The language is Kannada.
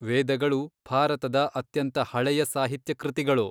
ವೇದಗಳು ಭಾರತದ ಅತ್ಯಂತ ಹಳೆಯ ಸಾಹಿತ್ಯ ಕೃತಿಗಳು.